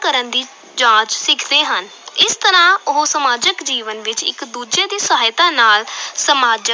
ਕਰਨ ਦੀ ਜਾਂਚ ਸਿੱਖਦੇੇ ਹਨ, ਇਸ ਤਰ੍ਹਾਂ ਉਹ ਸਮਾਜਿਕ ਜੀਵਨ ਵਿੱਚ ਇੱਕ ਦੂਜੇ ਦੀ ਸਹਾਇਤਾ ਨਾਲ ਸਮਾਜਿਕ